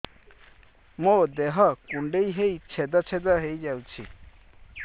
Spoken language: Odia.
ମୋ ଦେହ କୁଣ୍ଡେଇ ହେଇ ଛେଦ ଛେଦ ହେଇ ଯାଉଛି